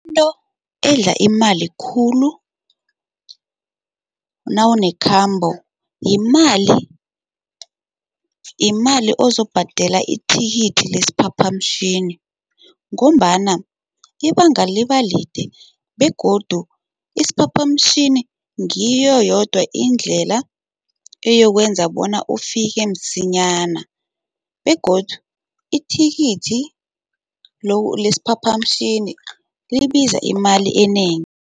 Into edla imali khulu nawunekhambo yimali, yimali ozobhadela ithikithi lesiphaphamtjhini ngombana ibanga libalide begodu isiphaphamtjhini ngiyo yodwa indlela eyokwenza bona ufike msinyana begodu ithikithi lesiphaphamtjhini libiza imali enengi.